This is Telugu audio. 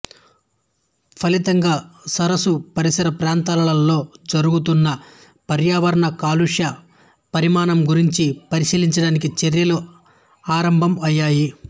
ఫలితంగా సరసు పరిసర ప్రాంతాలలో జరుగుతున్న పర్యావరణ కాలుష్య పరిమాణం గురించి పరిశీలించడానికి చర్యలు ఆరంభం అయ్యాయి